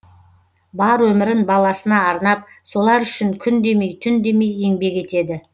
бар өмірін баласына арнап солар үшін күн демей түн демей еңбек етеді